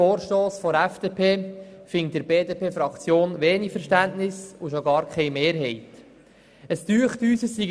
Es scheint uns, dass langsam genug über dieses Thema gesprochen worden sei.